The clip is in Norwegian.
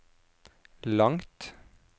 langt